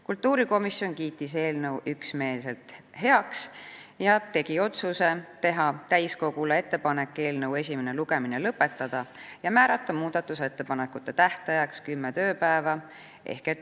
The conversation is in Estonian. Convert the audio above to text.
Kultuurikomisjon kiitis eelnõu üksmeelselt heaks ning tegi otsuse teha täiskogule ettepanek eelnõu esimene lugemine lõpetada ja määrata muudatusettepanekute tähtajaks kümme tööpäeva.